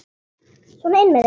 Sona inn með þig!